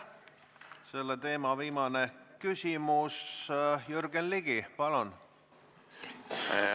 Selle teema viimane küsimus, Jürgen Ligi, palun!